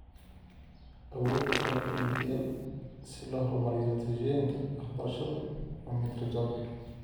Awoodda qalabka DPL si loo horumariyo natiijooyinka waxbarashadu waa mid rajo leh.